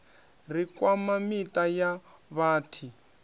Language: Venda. ri kwama miṱa ya vhathi